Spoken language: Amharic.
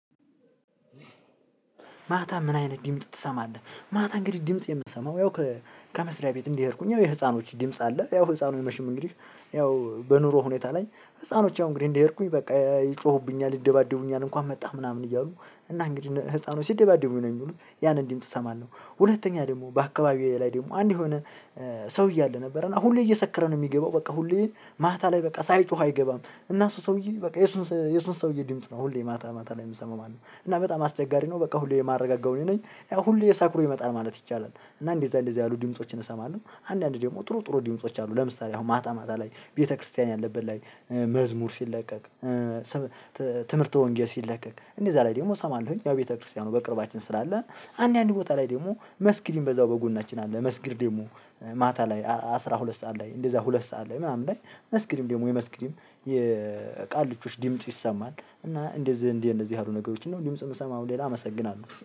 ማታ ምን አይነት ድምጽ ትሰማለህ? ማታ እንግዲህ ድምጽ የምትሰማው ያው ከመስሪያ ቤት እንዲሄድኩኝ ያው የህፃኖች ድምጽ አለ። ያው ህፃኑ የመቼም እንግዲህ ያው በኑሮ ሁኔታ ላይ ህፃኖች ያው እንግዲህ እንደሄድኩኝ በቃ ይጮሁብኛል ይደባደቡኛል እንኳን መጣህ ምናምን እያሉ እና እንግዲህ ህፃኑ ሲደባደቡኝ ነው የሚሉት ያን ድምጽ አሰማለሁ። ሁለተኛ ደግሞ በአካባቢዬ ላይ ደግሞ አንድ የሆነ ሰውዬ አለ ነበረ። እና ሁሌ እየሰከረ ነው የሚገባው በቃ ሁሌ ማታ ላይ በቃ ሳይጮህ አይገባም። እና እሱ ሰውዬ በቃ የሱን የሱን ሰውዬ ድምጽ ነው ሁሌ ማታ ማታ ላይ የምሰማው እና በጣም አስቸጋሪ ነው። በቃ ሁሌ የማረጋጋው እኔ ነኝ። ያው ሁሌ የሰክሮ ይመጣል ማለት ይቻላል። እና እንደዛ እንደዛ ያሉ ድምፆችን እሰማለሁ። አንዳንድ ደግሞ ጥሩ ጥሩ ድምጾች አሉ። ለምሳሌ አሁን ማታ ማታ ላይ ቤተክርስቲያን ያለበት ላይ መዝሙር ሲለቀቅ። ትምህርት ወንጌል ሲለቀቅ እንደዛ ላይ ደግሞ እሰማለሁኝ። ያው ቤተክርስቲያኑ በቅርባችን ስላለ። አንድ አንድ ቦታ ላይ ደግሞ መስጊድ የሚበዛው በጎናችን አለ። መስጊድ ደግሞ ማታ ላይ አስራ ሁለት ሰዓት ላይ እንደዛ ሁለት ሰዓት ላይ ምናምን ላይ መስጊድም ደግሞ የመስጊድም የቃልቾች ድምጽ ይሰማል። እና እንደዚህ እንደነዚህ ያሉ ነገሮችን ድምጽ የምሰማው ሌላ አመሰግናለሁ።